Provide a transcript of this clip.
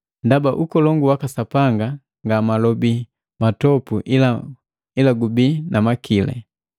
Ndaba ukolongu waka Sapanga nga malobi matopu ila gubii na makili.